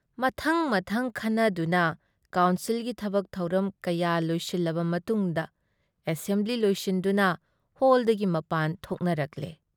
ꯃꯊꯪ-ꯃꯊꯪ ꯈꯟꯅꯗꯨꯅ ꯀꯥꯎꯟꯁꯤꯜꯒꯤ ꯊꯕꯛ ꯊꯧꯔꯝ ꯀꯌꯥ ꯂꯣꯏꯁꯤꯜꯂꯕ ꯃꯇꯨꯡꯗ ꯑꯦꯁꯦꯝꯕ꯭ꯂꯤ ꯂꯣꯏꯁꯤꯟꯗꯨꯅ ꯍꯣꯜꯗꯒꯤ ꯃꯄꯥꯟ ꯊꯣꯛꯅꯔꯛꯂꯦ꯫